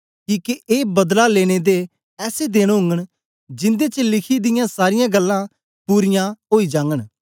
किके ए बदला लेने दे ऐसे देन ओगन जिन्दे च लिखी दियां सारीयां गल्लां पूरीयां ओई जागन